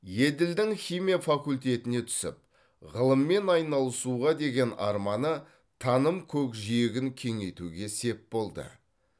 еділдің химия факультетіне түсіп ғылыммен айналысуға деген арманы таным көкжиегін кеңейтуге сеп болды